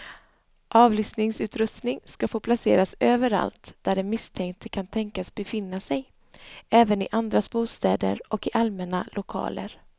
Avlyssningsutrustning ska få placeras överallt där den misstänkte kan tänkas befinna sig, även i andras bostäder och i allmänna lokaler.